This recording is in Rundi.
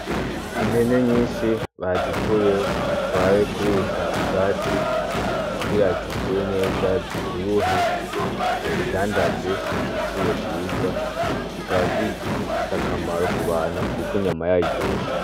Impene nyinshi bazituye batwaye kurisha ubwatsi ugira zikure neza zivyibuhe bazidandaze igiciro ciza zikabazijise akamaro ku bantu, kuko inyama yayo iryoshe.